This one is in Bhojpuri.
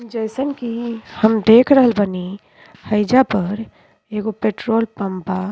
जइसन की हम देख रहल बानी हाईजा पर एगो पेट्रोल पंप बा।